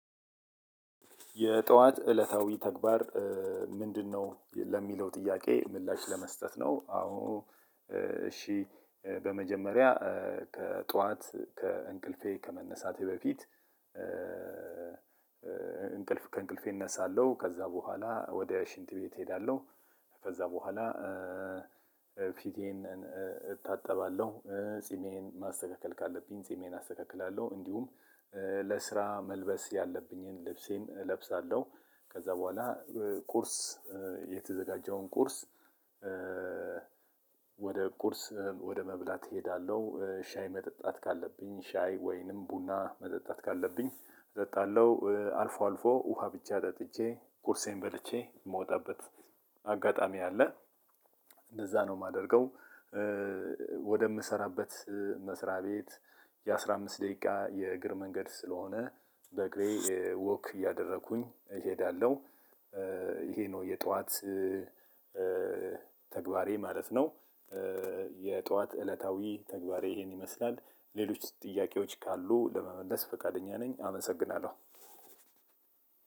የጠዋት እለታዊ ተግባር ምንድነው? ለሚለው ጥያቄ ምላሽ ለመስጠት ነው አዎ እሺ በመጀመሪያ ከጧት ከእንቅልፌ ከመነሳቴ በፊት እንቅልፍ ከእንቅልፌ እነሳለሁ ከዛ በኋላ ወደ ሽንት ቤት እሄዳለሁ ከዛ በኋላ ፊቴን እታጠባለሁ ጺሜን ማስተካከል ካለብኝ ጺሜን አስተካክላለሁ። እንዲሁም ለስራ መልበስ ያለብኝን ልብሴን እለብሳለሁ ከዛ በኋላ ቁርስ የተዘጋጀውን ቁርስ ወደ ቁርስ ወደ መብላት እሄዳለሁ። ሻይ መጠጣት ካለብኝ ሻይ ወይንም ቡና መጠጣት ካለብኝ እጠጣለሁ አልፎ አልፎ ውሃ ብቻ ጠጥቼ ቁርሴን በልቼ የምወጣበት አጋጣሚ አለ እንደዛ ነው የማደርገው ወደምሰራበት መስሪያ ቤት የአስራ አምስት ደቂቃ የእግር መንገድ ስለሆነ በእግሬ ወክ እያደረኩኝ እሄዳለሁ። ይሄ ነው የጧት ተግባሬ ማለት ነው። የጧት እለታዊ ተግባሬ ይሄን ይመስላል ሌሎች ጥያቄዎች ካሉ ለመመለስ ፈቃደኛ ነኝ አመሰግናለሁ።